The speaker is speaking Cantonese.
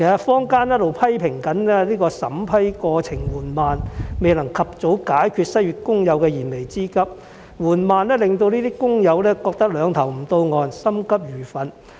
坊間一直批評審批過程緩慢，未能及早解決失業工友的燃眉之急，而過程緩慢令這些工友認為"兩頭不到岸"、心急如焚。